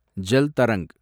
Jal Tarang